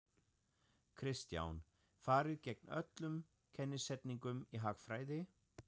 Kristján: Farið gegn öllum kennisetningum í hagfræði?